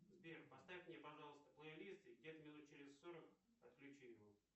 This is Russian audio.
сбер поставь мне пожалуйста плейлист и где то минут через сорок отключи его